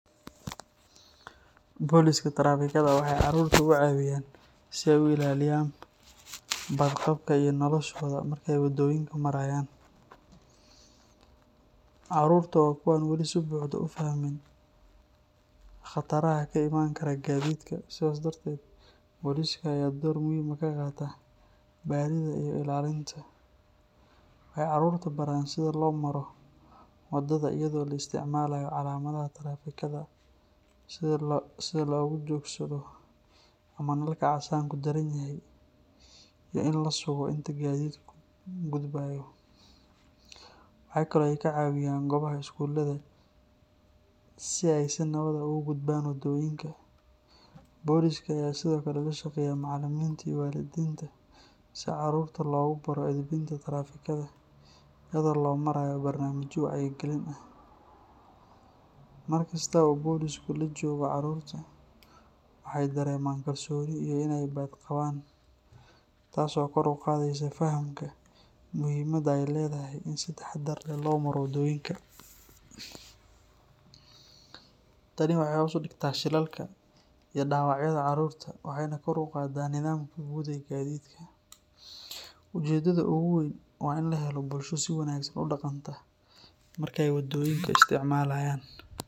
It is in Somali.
Boliska trafikada waxay caruurta u cawiyaan si ay u ilaaliyaan badqabka iyo noloshooda marka ay waddooyinka marayaan. Caruurta waa kuwo aan wali si buuxda u fahmin khataraha ka imaan kara gaadiidka, sidaas darteed boliska ayaa door muhiim ah ka qaata barida iyo ilaalinta. Waxay caruurta baraan sida loo maro waddada iyadoo la isticmaalayo calaamadaha taraafikada, sida lagu joogsado marka nalka casaanku daaran yahay, iyo in la sugo inta gaadiidku gudbayo. Waxa kale oo ay ka caawiyaan goobaha iskuulada si ay si nabad ah ugu gudbaan waddooyinka. Boliska ayaa sidoo kale la shaqeeya macalimiinta iyo waalidiinta si carruurta loogu baro edbinta taraafikada iyadoo loo marayo barnaamijyo wacyigelin ah. Markasta oo bolisku la joogo caruurta, waxay dareemaan kalsooni iyo in ay badqabaan, taas oo kor u qaadaysa fahamka muhiimadda ay leedahay in si taxadar leh loo maro waddooyinka. Tani waxay hoos u dhigtaa shilalka iyo dhaawacyada carruurta, waxayna kor u qaadaa nidaamka guud ee gaadiidka. Ujeedada ugu weyn waa in la helo bulsho si wanaagsan u dhaqanta marka ay waddooyinka isticmaalayaan.